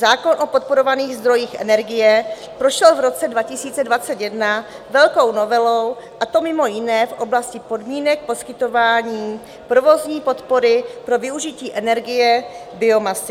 Zákon o podporovaných zdrojích energie prošel v roce 2021 velkou novelou, a to mimo jiné v oblasti podmínek poskytování provozní podpory pro využití energie biomasy.